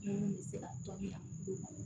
Minnu bɛ se ka tɔbila